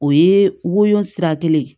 O ye woyo sira kelen ye